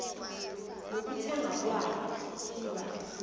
nokuthengwa kwayo iba